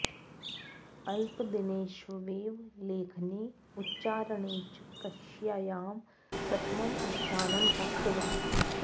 अल्पदिनेष्वेव लेखने उच्चारणे च कक्ष्यायां प्रथमं स्थानं प्राप्तवान्